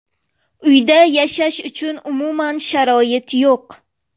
Uyda yashash uchun umuman sharoit yo‘q.